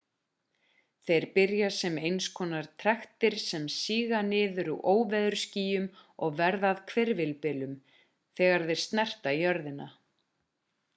þeir byrja sem einskonar trektir sem síga niður úr óveðursskýjum og verða að hvirfilbyljum þegar þeir snerta jörðina